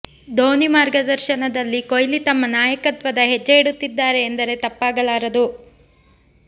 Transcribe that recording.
ಧೋನಿ ಮಾರ್ಗದರ್ಶನದಲ್ಲಿ ಕೊಹ್ಲಿ ತಮ್ಮ ನಾಯಕತ್ವದ ಹೆಜ್ಜೆ ಇಡುತ್ತಿದ್ದಾರೆ ಎಂದರೆ ತಪ್ಪಾಗಲಾರದು